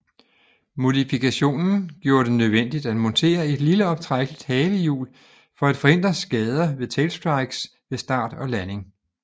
Modifikationen gjorde det nødvendigt at montere et lille optrækkeligt halehjul for at forhindre skader ved tailstrikes ved start og landing